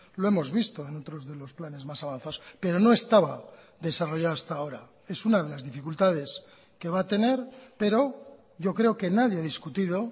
lo hemos visto en otros de los planes más avanzados pero no estaba desarrollado hasta ahora es una de las dificultades que va a tener pero yo creo que nadie ha discutido